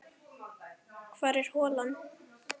Hvar er holan?